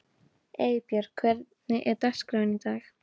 Eybjörg, hvernig er dagskráin í dag?